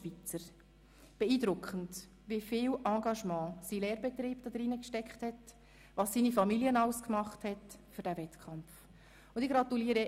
Es ist beeindruckend, wie viel Engagement sein Lehrbetrieb hinein gesteckt und was seine Familie alles für den Wettkampf gemacht hat.